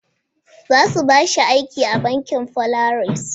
Za su ba shi aiki a bankin Polaris.